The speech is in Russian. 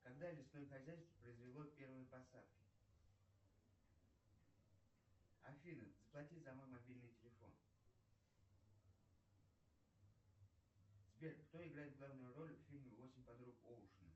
когда лесное хозяйство произвело первые посадки афина заплати за мой мобильный телефон сбер кто играет главную роль в фильме восемь подруг оушена